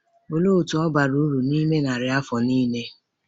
Olee otú ọ bara uru n’ime narị afọ nile?